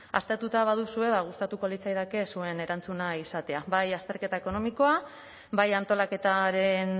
aztertuta baduzue ba gustatuko litzaidake zuen erantzuna izatea bai azterketa ekonomikoa bai antolaketaren